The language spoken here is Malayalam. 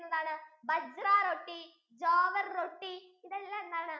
bajra roti jawar roti ഇതെല്ലാം എന്താണ്